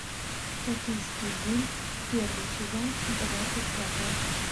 токийский гуль первый сезон двадцать пятая часть